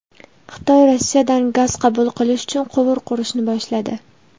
Xitoy Rossiyadan gaz qabul qilish uchun quvur qurishni boshladi.